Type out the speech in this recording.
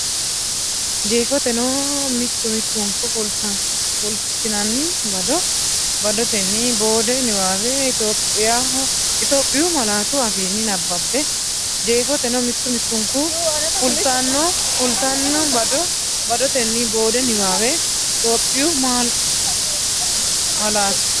Jeefoteno, mittu mittunku fultinanni bado badotenni boode niwaawe Itophiyu malaatu afiinni nabbabbe Jeefoteno, mittu mittunku fultinanni bado badotenni boode niwaawe Itophiyu malaatu.